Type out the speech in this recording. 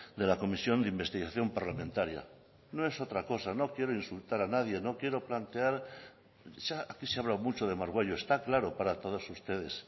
de la comisión de investigación parlamentaria no es otra cosa no quiero insultar a nadie no quiero plantear aquí se ha hablado mucho de margüello está claro para todos ustedes